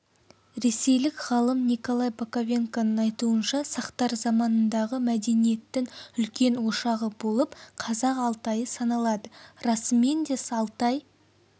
ресейлік ғалымниколай боковенконың айтуынша сақтар заманындағы мәдениеттің үлкен ошағы болып қазақ алтайы саналады расымен де алтай